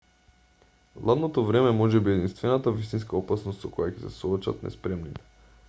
ладното време можеби е единствената вистинска опасност со која ќе се соочат неспремните